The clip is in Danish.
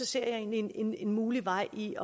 ser jeg egentlig en en mulig vej i